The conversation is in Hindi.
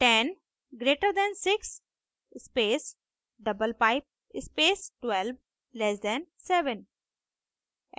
10 greater than 6 space double pipe space 12लैस दैन 7